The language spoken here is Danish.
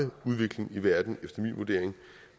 udvikling i verden efter min vurdering